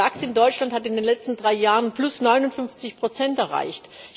Der DAX in Deutschland hat in den letzten 3 Jahren 59 Prozent erreicht.